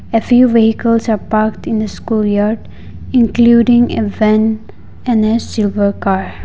a few vehicles are parked in a school yard including a van and a silver car.